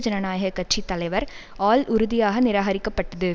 ஜனநாயக கட்சி தலைவர் ஆல் உறுதியாக நிராகரிக்கப்பட்டது